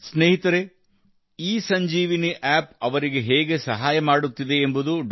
ಸ್ನೇಹಿತರೇ ಇಸಂಜೀವಿನಿ ಆ್ಯಪ್ ಅವರಿಗೆ ಹೇಗೆ ಸಹಾಯ ಮಾಡುತ್ತಿದೆ ಎಂಬುದು ಡಾ